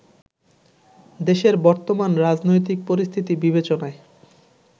দেশের বর্তমান রাজনৈতিক পরিস্থিতি বিবেচনায়